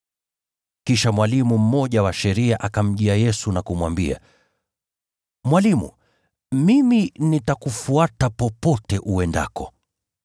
Kisha mwalimu mmoja wa sheria akamjia Yesu na kumwambia, “Mwalimu, nitakufuata kokote uendako.”